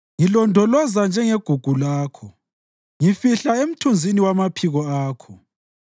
Ngilondoloza njengegugu lakho; ngifihla emthunzini wamaphiko akho